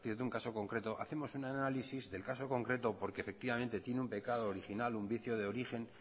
de un caso concreto hacemos un análisis del caso concreto porque efectivamente tiene un pecado original un vicio de origen